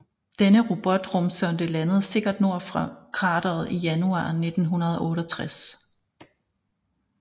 Denne robotrumsonde landede sikkert nord for krateret i januar 1968